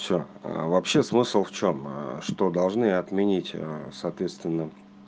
всё вообще смысл в чём что должны отменить соответственно